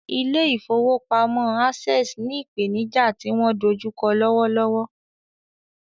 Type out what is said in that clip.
Ilé ìfowópamọ́ Access ní ìpènijà tí wọ́n dojú kọ lọ́wọ́ lọ́wọ́.